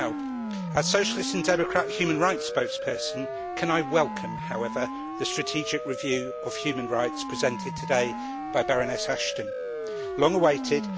As the Socialist and Democrats' human rights spokesperson, can I welcome, however, the strategic review of human rights presented today by Baroness Ashton long awaited.